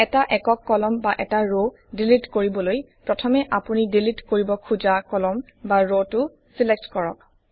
এটা একক কলাম বা এটা ৰক ডিলিট কৰিবলৈ প্ৰথমে আপুনি ডিলিট কৰিব খুজা কলাম বা ৰটো ছিলেক্ট কৰক